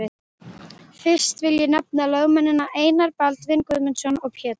Fyrsta vil ég nefna lögmennina Einar Baldvin Guðmundsson og Pétur